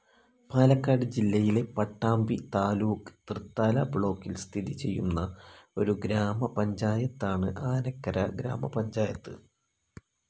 പാലക്കാട് ജില്ലയിലെ പട്ടാമ്പി താലൂക്ക് തൃത്താല ബ്ലോക്കിൽ സ്ഥിതി ചെയ്യുന്ന ഒരു ഗ്രാമപഞ്ചായത്താണ് ആനക്കര ഗ്രാമപഞ്ചായത്ത്.